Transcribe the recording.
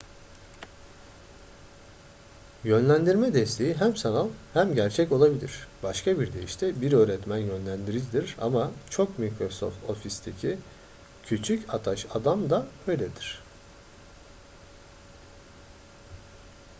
yönlendirme desteği hem sanal hem gerçek olabilir başka bir deyişle bir öğretmen yönlendiricidir ama çok microsoft office'teki küçük ataş adam da öyledir